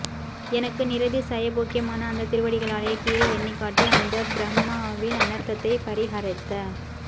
எனக்கு நிரதிசய போக்யமான அந்த திருவடிகளாலே கீறி எண்ணிக் காட்டி அந்த ப்ரஹ்மாவின் அனர்த்தத்தை பரிஹரித்த